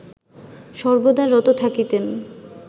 সর্বদা রত থাকিতেন